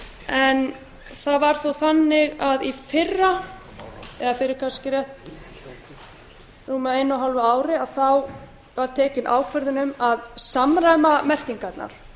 en það var þó þannig að í fyrra eða fyrir kannski rétt rúmu einu og hálfu ári var tekin ákvörðun um að samræma merkingarnar